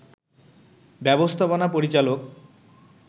ব্যবস্থাপনা পরিচালক